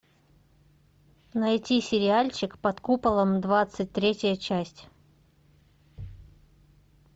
найти сериальчик под куполом двадцать третья часть